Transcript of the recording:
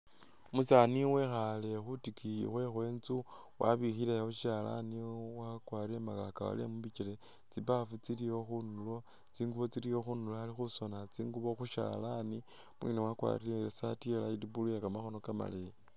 Umusani wekhale khutikiyi khwe khwenzu wabikhilawo sishalani wakwarile mukakawale mubikyele, tsibafu tsilyawo khundulo tsingubo tsilyawo khundulo Ali khusona tsingubo khushalani umwene wakwarile isati iya' blue iye kamakhono kamaleyi